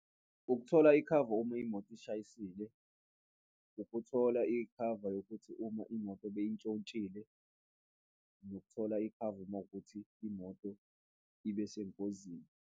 Ukuthola ikhava uma imoto ishayisile, ukuthola ikhava yokuthi uma imoto beyintshontshile nokuthola ikhava mawukuthi imoto ibe sengozini.